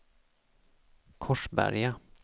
Korsberga